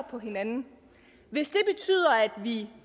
på hinanden hvis det betyder at vi